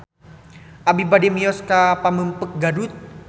Abi bade mios ka Pamengpeuk Garut